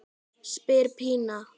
spyr Pína.